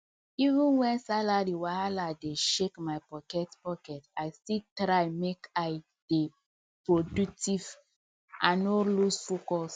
even when salary wahala dey shake my pocket pocket i still try make i dey productive and no lose focus